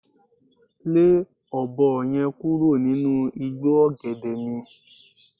Le ọ̀bọ ye̩n kúrò nínú igbó ò̩gè̩dè̩ mi